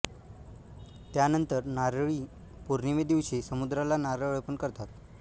त्यांनंतर नारळी पौर्णिमे दिवशी समुद्राला नारळ अर्पण करतात